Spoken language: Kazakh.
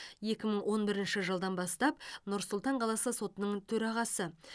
екі мың он бірінші жылдан бастап нұр сұлтан қаласы сотының төрағасы